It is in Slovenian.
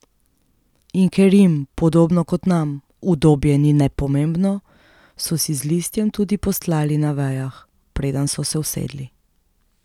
In ker jim, podobno kot nam, udobje ni nepomembno, so si z listjem tudi postlali na vejah, preden so se usedli.